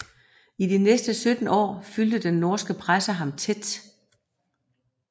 I de næste 17 år fulgte den norske presse ham tæt